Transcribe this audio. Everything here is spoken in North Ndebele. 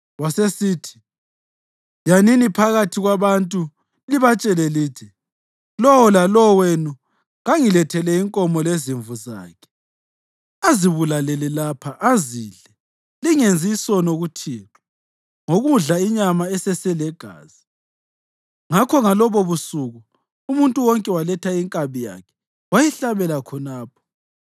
Wasesithi, “Yanini phakathi kwabantu libatshele lithi, ‘Lowo lalowo wenu kangilethele inkomo lezimvu zakhe azibulalele lapha azidle. Lingenzi isono kuThixo ngokudla inyama eseselegazi.’ ” Ngakho ngalobobusuku umuntu wonke waletha inkabi yakhe wayihlabela khonapho.